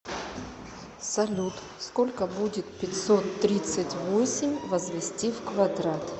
салют сколько будет пятьсот тридцать восемь возвести в квадрат